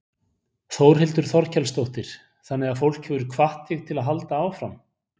Þórhildur Þorkelsdóttir: Þannig að fólk hefur hvatt þig til að halda áfram?